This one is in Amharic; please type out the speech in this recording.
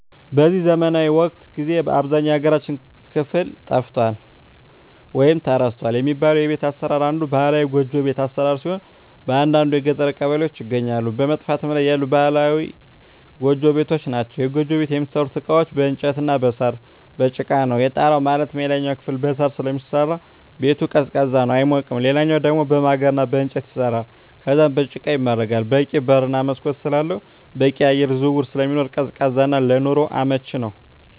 በዚህ ዘመናዊ ወቅት ጊዜ በአብዛኛው የሀገራችን ክፍል ጠፍቷል ወይም ተረስቷል የሚባለው የቤት አሰራር አንዱ ባህላዊ ጎጆ ቤት አሰራር ሲሆን በአንዳንድ የገጠር ቀበሌዎች ይገኛሉ በመጥፋት ላይ ያሉ ባህላዊ ጎጆ ቤቶች ናቸዉ። የጎጆ ቤት የሚሠሩበት እቃዎች በእንጨት እና በሳር፣ በጭቃ ነው። የጣራው ማለትም የላይኛው ክፍል በሳር ስለሚሰራ ሲሆን ቤቱ ቀዝቃዛ ነው አይሞቅም ሌላኛው ደሞ በማገር እና በእንጨት ይሰራል ከዛም በጭቃ ይመረጋል በቂ በር እና መስኮት ስላለው በቂ የአየር ዝውውር ስለሚኖር ቀዝቃዛ እና ለኑሮ አመቺ ነው።